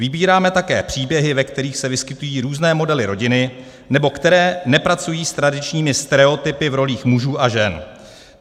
Vybíráme také příběhy, ve kterých se vyskytují různé modely rodiny nebo které nepracují s tradičními stereotypy v rolích mužů a žen.